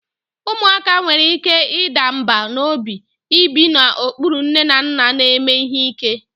Ụmụaka nwere ike ịda mbà n'obi ibi n'okpuru nne na nna na-eme ihe ike: